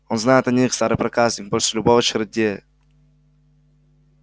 он знает о них старый проказник больше любого чародея